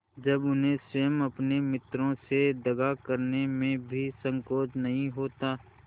जब उन्हें स्वयं अपने मित्रों से दगा करने में भी संकोच नहीं होता